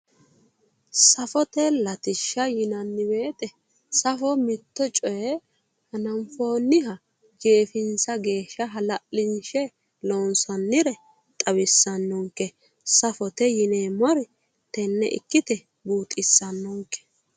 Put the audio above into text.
Safote latishaha yineemmo weete safote mitto coye hananfoonniha jeefinsanniha hala'linshe loonsannire xawisaanonke safote yineemmori tenne ikkite buuxissannon ke